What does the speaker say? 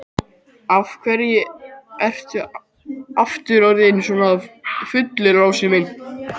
Af hverju ertu aftur orðinn svona fullur, Lási minn?